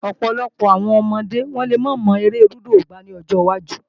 Ọ̀pọ̀lọpọ̀ àwọn ọmọdé lè máa mọ eré lúdò gbá lọ́jọ wájú